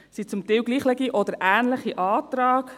Es sind zum Teil gleiche oder ähnliche Anträge.